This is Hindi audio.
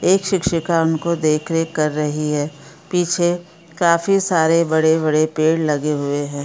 एक शिक्षिका उनको देख रेख कर रही है पीछे काफी सारे बड़े-बड़े पेड़ लगे हुए है।